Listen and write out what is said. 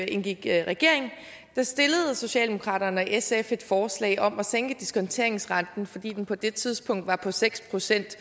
indgik i regering stillede socialdemokraterne og sf et forslag om at sænke diskonteringsrenten fordi den på det tidspunkt var på seks procent